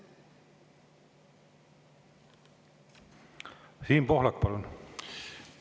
Siim Pohlak, palun!